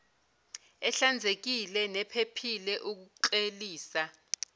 ehlanzekile nephephile ukuklelisa